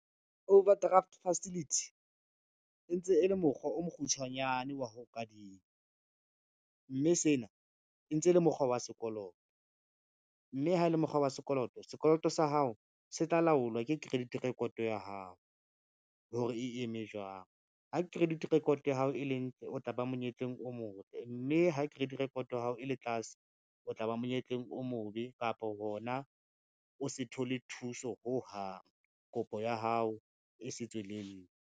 Overdraft facility, e ntse e le mokgwa o mokgutshwanyane wa ho kadima, mme sena e ntse e le mokgwa wa sekoloto, mme ha e le mokgwa wa sekoloto, sekoloto sa hao se tla laolwa ke credit record ya hao hore e eme jwang. Ha credit record ya hao e le ntle, o tla ba monyetleng o motle, mme ha credit record ya hao e le tlase, o tla ba monyetleng o mobe kapa hona o se thole thuso ho hang kopo ya hao e se tswelelle.